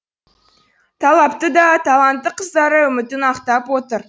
талапты да талантты қыздары үмітін ақтап отыр